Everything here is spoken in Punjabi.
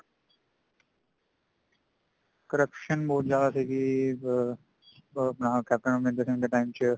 corruption ਬਹੁਤ ਜ਼ਿਆਦਾ ਸੀਗੀ ਅਮ ਆਪਣਾ ਕੈਪਟਣ ਅਮਰਿੰਦਰ ਸਿੰਘ ਦੇ time ਚ